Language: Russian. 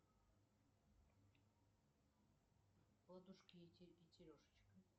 ладушки и терешечка